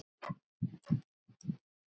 María Lúísa.